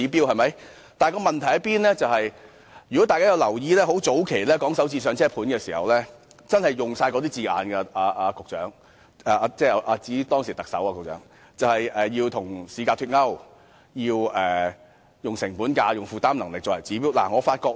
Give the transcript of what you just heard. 如果大家曾留意，便會發現早期討論"港人首置上車盤"時其實亦用上同樣的字眼——局長，我指當時的特首——例如與市價脫鈎，以及以成本價及負擔能力作為指標。